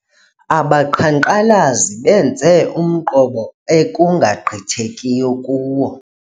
Abaqhankqalazi benze umqobo ekungagqithekiyo kuwo.